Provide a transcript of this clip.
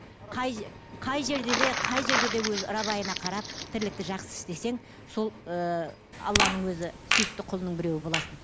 қай қай жерде де қай жерде де өзі рабайына қарап тірлікті жақсы істесең сол ііі алланың өзі сүйікті құлының біреуі боласың